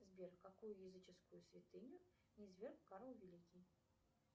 сбер какую языческую святыню низверг карл великий